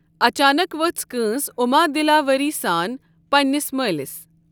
اَچانک ؤژھ کۭنٛس عُما دِلا ؤری سان پنٛنِس مٲلِس۔